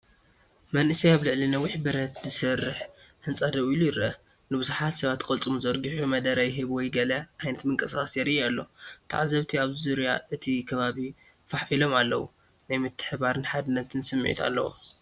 መንእሰይ ኣብ ልዕሊ ነዊሕ ብረት ዝሰርሕ ህንጻ ደው ኢሉ ይርአ። ንብዙሓት ሰባት ቅልጽሙ ዘርጊሑ መደረ ይህብ ወይ ገለ ዓይነት ምንቅስቓስ የርኢ ኣሎ። ተዓዘብቲ ኣብ ዙርያ እቲ ከባቢ ፋሕ ኢሎም ኣለዉ። ናይ ምትሕብባርን ሓድነትን ስምዒት ኣለዎ።